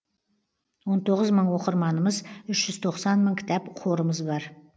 он тоғыз мың оқырманымыз үш жүз тоқсан мың кітап қорымыз бар